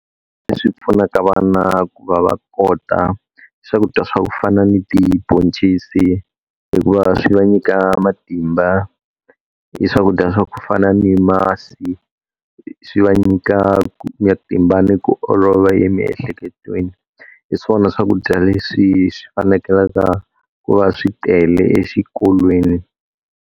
Leswi pfunaka vana ku va va kota swakudya swa ku fana ni tibhoncisi hikuva swi va nyika matimba, i swakudya swa ku fana ni masi, swi va nyikaka matimba ni ku olova emiehleketweni. Hiswona swakudya leswi swi fanekelaka ku va swi tele exikolweni.